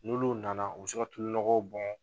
N'olu nana u bɛ se ka tulunɔgɔw bɔn